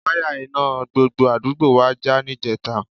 Wáyà iná gbogbo àdúgbò wa já níjẹta